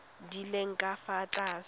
di leng ka fa tlase